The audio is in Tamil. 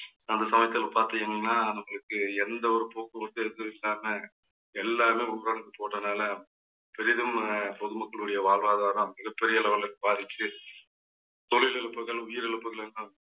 அந்த சமயத்துல பார்த்தீங்கன்னா நம்மளுக்கு எந்த ஒரு போக்குவரத்தும் எதும் இல்லாம எல்லாமே ஊரடங்கு போட்டதுனால பெரிதும் அஹ் பொதுமக்களுடைய வாழ்வாதாரம் மிகப்பெரிய அளவுல பாதிச்சு தொழில் தொழில் இழப்புகள் உயிரிழப்புகள் எல்லாம்